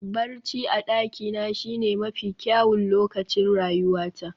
Barci a dakina shine mafi kyawun lokacin rayuwata